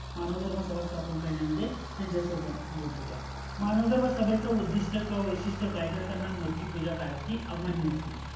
मानव धर्म स्थापन करण्यामध्ये त्यांच्यासोबत होत्या. मानव धर्मसभेच उद्दिस्ट किवा वैशिस्ट काय तर त्यांना मूर्तिपूजा काय होती अमान्य होती